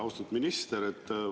Austatud minister!